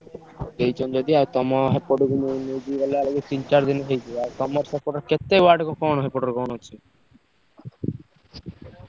ଦେଇଛନ୍ତି ଯଦି ଆଉ ତମ ସେପଟକୁ ନେ ନେଇକି ଗଲା ବେଳକୁ ତିନି ଚାରି ଦିନି ହେଇଯିବ। ଆଉ ତମର ସେପଟେ କେତେ କୁ କଣ ସେପଟରେ କଣ ଅଛି?